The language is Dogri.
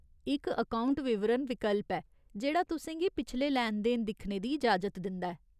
इक अकौंट विवरण विकल्प ऐ, जेह्ड़ा तुसें गी पिछले लैन देन दिक्खने दी इजाजत दिंदा ऐ।